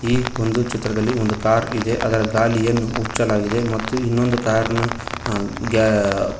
ಈ ಒಂದು ಚಿತ್ರದಲ್ಲಿ ಒಂದು ಕಾರ್ ಇದೆ ಅದರ ಗಾಲ್ಲಿಯನ್ನು ಹುಚ್ಚಲಾಗಿದೆ ಇನ್ನೊಂದು ಕಾರ್ ನ ಆ ಗ್ಯ --